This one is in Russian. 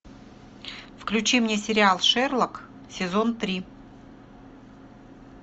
включи мне сериал шерлок сезон три